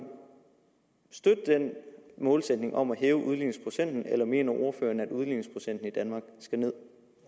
støtte den målsætning om at hæve udligningsprocenten eller mener ordføreren at udligningsprocenten i danmark skal ned